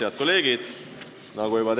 Head kolleegid!